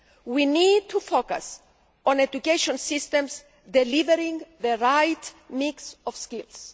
we need to focus on education systems delivering the right mix of skills.